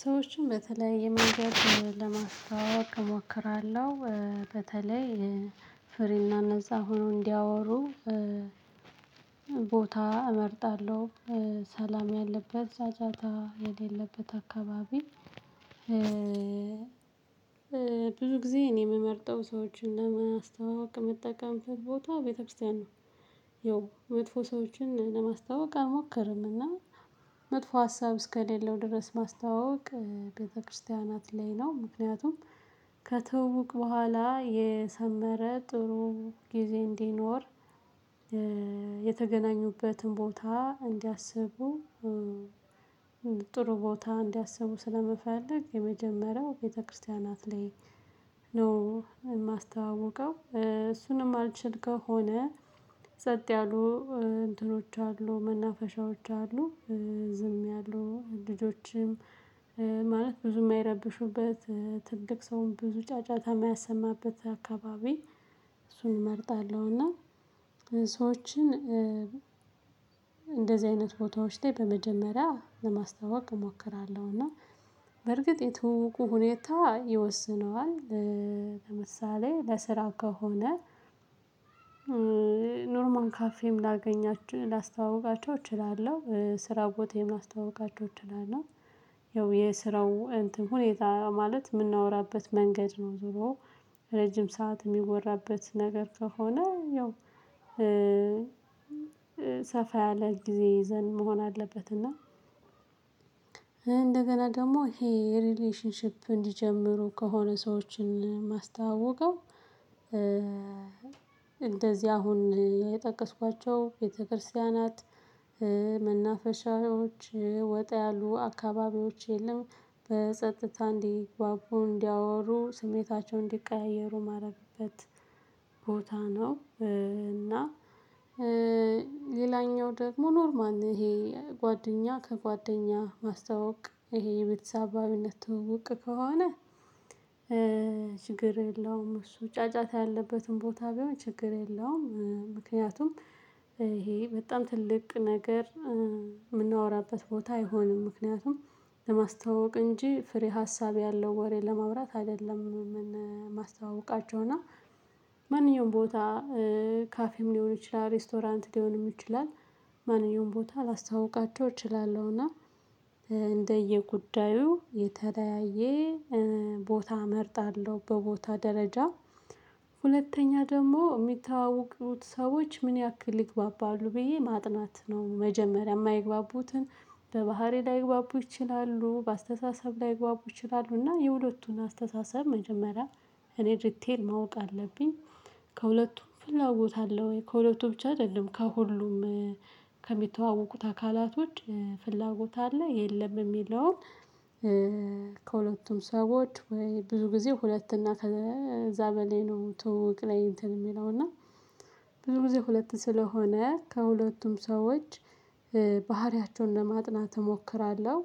ሰዎችን በተለየ መንገድ ለማስተዋወቅ እሞክራለሁ በተለይ ፍሪና ነፃ ሆነው እንዲያወሩ ቦታ እመርጣለሁ ሰላም ያለበት ጫጫታ የሌለበት አካባቢ። ብዙ ጊዜ እኔ የምመርጠው ሰዎችን ለማስተዋወቅ የምጠቀም ቦታ ቤተክርስቲያን ነው። ያው መጥፎ ሰዎችን ለማስተዋወቅ አልሞክርም እና መጥፎ ሀሳብ እስከሌለው ድረስ ማስተዋወቅ ቤተክርስቲያናት ላይ ነው ምክንያቱም ከትውውቅ በኋላ የሰመረ ጥሩ ጊዜ እንዲኖር። የተገናኙበትን ቦታ እንዲያስቡ። ጥሩ ቦታ እንዲያስቡ ስለምፈልግ የመጀመሪያው ቤተክርስቲያናት ላይ ነው የማስተዋውቀው እሱን የማልችል ከሆነ። ጸጠ ያሉ እንትኖች አሉ መናፈሻዎች አሉ። ዝም ያሉ ልጆችም ማለት ብዙ የማይረብሹበት ትልቅ ሰውን ብዙ ጫጫታ የማያሰማበት አካባቢ። እሱን እመርጣለሁ እና ሰዎችን እንደዚህ አይነት ቦታዎች ላይ በመጀመሪያ ለማስተዋወቅ እሞክራለሁ እና በርግጥ የትውውቁ ሁኔታ ይወስነዋል። ለምሳሌ ለስራ ከሆነ። ኖርማል ካፌም ላገኛቸው ላስተዋውቃቸው እችላለሁ ስራ ቦታዬም ላስተዋውቃቸው እችላለሁ። ያው የስራው እንትን ሁኔታ ማለት የምናወራበት መንገድ ነው። ዞሮ ረጅም ሰዓት የሚወራበት ነገር ከሆነ ያው። ሰፋ ያለ ጊዜ ይዘን መሆን አለበት። እና እንደገና ደግሞ ይሄ ሪሌሽንሺፕ እንዲጀምሩ ከሆነ ሰዎችን የማስተዋውቀው። እንደዚህ አሁን የጠቀስኳቸው ቤተክርስቲያናት መናፈሻዎች ወጣ ያሉ አካባቢዎች የለም። በጸጥታ እንዲጓጉ እንዲያወሩ ስሜታቸው እንዲቀያየሩ ማድረግበት ቦታ ነው። እና ሌላኛው ደግሞ ኖርማል ነው ይሄ ጓደኛ ከጓደኛ ማስተዋወቅ ይሄ የቤተሰባዊነት ትውውቅ ከሆነ። ችግር የለውም እሱ ጫጫታ ያለበትን ቦታ ቢሆን ችግር የለውም። ምክንያቱም ይሄ በጣም ትልቅ ነገር የምናወራበት ቦታ አይሆንም። ምክንያቱም ለማስታወቅ እንጂ ፍሬ ሀሳብ ያለው ወሬ ለማውራት አይደለም። የማስተዋውቃቸው እና ማንኛውም ቦታ ካፌም ሊሆን ይችላል ሬስቶራንት ሊሆንም ይችላል። ማንኛውም ቦታ ላስተዋውቃቸው እችላለሁና። እንደየጉዳዩ የተለያየ ቦታ እመርጣለሁ በቦታ ደረጃ። ሁለተኛ ደግሞ የሚተዋወቁት ሰዎች ምን ያክል ይግባባሉ ብዬ ማጥናት ነው መጀመሪያ የማይግባቡትን በባህሪ ላይግባቡ ይችላሉ በአስተሳሰብ ላይግባቡ ይችላሉ እና የሁለቱን አስተሳሰብ መጀመሪያ እኔ ዲቴል ማወቅ አለብኝ። ከሁለቱም ፍላጎት አለ ወይ ከሁለቱ ብቻ አይደለም ከሁሉም ከሚተዋወቁት አካላቶች ፍላጎት አለ የለም የሚለውን። ከሁለቱም ሰዎች ወይ ብዙ ጊዜ ሁለት እና ከዛ በላይ ነው ትውውቅ ላይ እንትን የሚለው እና ብዙ ጊዜ ሁለት ስለሆነ ከሁለቱም ሰዎች ባህሪያቸውን ለማጥናት እሞክራለሁ።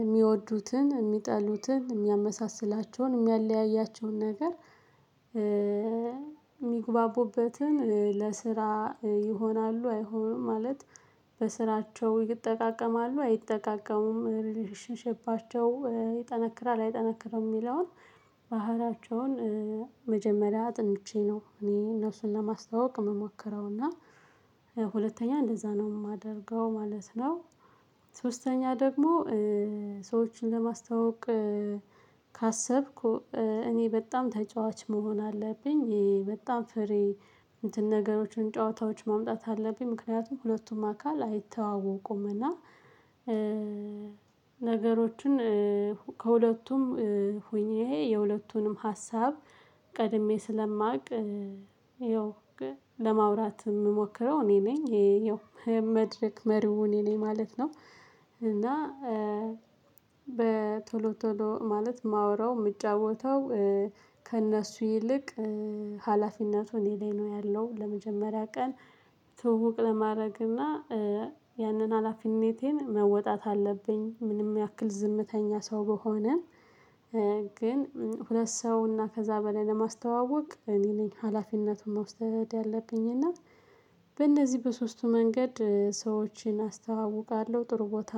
የሚወዱትን የሚጠሉትን የሚያመሳስላቸውን የሚያለያያቸውን ነገር። የሚግባቡበትን ለስራ ይሆናሉ አይሆንም ማለት በስራቸው ይጠቃቀማሉ አይጠቃቀሙም ሪሌሽንሺፓቸው ይጠነክራል አይጠነክርም የሚለውን። ባህሪያቸውን መጀመሪያ አጥንቼ ነው እኔ እነሱን ለማስተዋወቅ የምሞክረው። እና ሁለተኛ እንደዛ ነው የማደርገው ማለት ነው። ሶስተኛ ደግሞ ሰዎችን ለማስታወቅ ካሰብኩ እኔ በጣም ተጫዋች መሆን አለብኝ። በጣም ፍሪ እንትን ነገሮችን ጨዋታዎች ማምጣት አለብኝ። ምክንያቱም ሁለቱም አካል አይተዋወቁም። እና ነገሮችን ከሁለቱም ሆኜ የሁለቱንም ሀሳብ ቀድሜ ስለማውቅ ይኸው ለማውራት የምሞክረው እኔ ነኝ ያው መድረክ መሪው እኔ ነኝ ማለት ነው። እና በቶሎ ቶሎ ማለት የማወራው የምጫተው። ከእነሱ ይልቅ ሀላፊነቱ እኔ ላይ ነው ያለው። ለመጀመሪያ ቀን ትውውቅ ለማድረግ እና ያንን ሀላፊነቴን መወጣት አለብኝ። ምንም ያክል ዝምተኛ ሰው ብሆንም። ግን ሁለት ሰው እና ከዛ በላይ ለማስተዋወቅ እኔ ነኝ ሀላፊነቱን መውሰድ ያለብኝ። እና በእነዚህ በሶስቱ መንገድ ሰዎችን አስተዋውቃለሁ ጥሩ ቦታ